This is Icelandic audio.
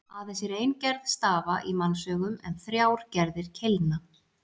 Aðeins er ein gerð stafa í mannsaugum en þrjár gerðir keilna.